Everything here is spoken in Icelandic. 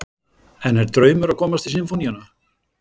En er draumur að komast í Sinfóníuna?